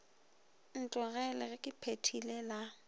ntlogele ge ke phethile la